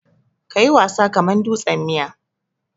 Ka yi wasa kaman dutsen miya.